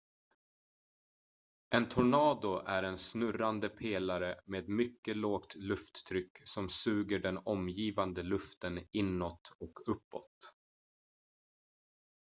en tornado är en snurrande pelare med mycket lågt lufttryck som suger den omgivande luften inåt och uppåt